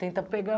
Tenta pegar.